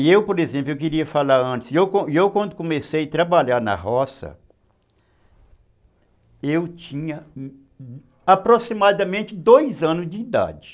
E eu, por exemplo, eu queria falar antes, e eu e eu quando comecei a trabalhar na roça, eu tinha aproximadamente dois anos de idade.